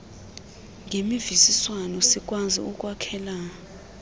ngemvisiswano sikwazi ukwakhela